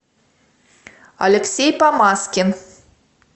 алексей помазкин